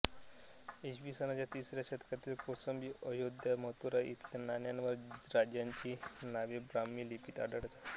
इसवी सनाच्या तिसऱ्या शतकातील कौसंबी अयोध्या मथुरा इथल्या नाण्यांवर राजांची नावे ब्राह्मी लिपीत आढळतात